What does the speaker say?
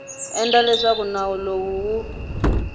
endla leswaku nawu lowu wu